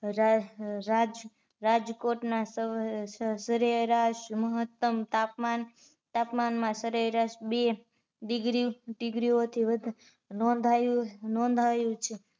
રાજ રાજકોટ ના સરેરાશ મહત્તમ તાપમાન તાપમાન તાપમાનમાં સરેરાશ બે degree ઓ થી વધારે નોંધાયું નોંધાયું છે